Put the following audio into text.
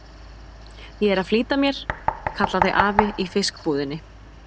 Ég er að flýta mér, kallaði afi í fiskbúðinni.